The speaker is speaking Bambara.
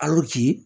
A y'o ci